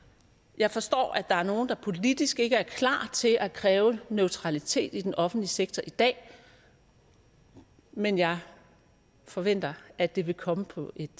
jeg forstår at der er nogle der politisk ikke er klar til at kræve neutralitet i den offentlige sektor i dag men jeg forventer at det vil komme på et